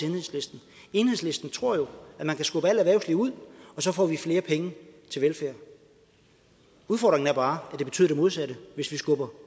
enhedslisten enhedslisten tror jo at man kan skubbe alt erhvervsliv ud og så få flere penge til velfærd udfordringen er bare at det betyder det modsatte hvis vi skubber